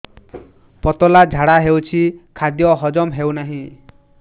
ପତଳା ଝାଡା ହେଉଛି ଖାଦ୍ୟ ହଜମ ହେଉନାହିଁ